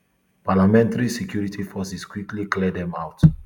parliamentary security forces quickly clear dem out